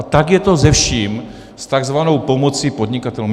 A tak je to se vším, s takzvanou pomocí podnikatelům.